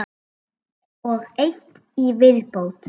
Og eitt í viðbót.